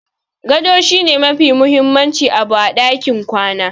Gado shi ne mafi mahimmin abu a ɗakin kwana.